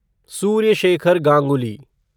Surya Shekhar Ganguly